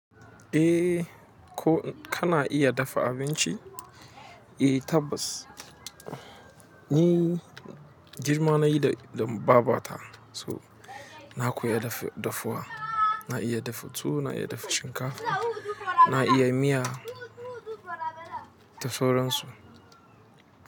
Eh ko kana iya dafa abinci? Eh tabbas ni girma nayi da babata so na koyi dafuwa. Na iya dafa tuwo, na iya dafa shinkafa, na iya miya da sauran su.